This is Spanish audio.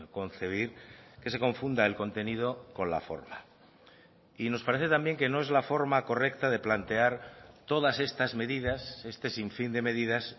concebir que se confunda el contenido con la forma y nos parece también que no es la forma correcta de plantear todas estas medidas este sinfín de medidas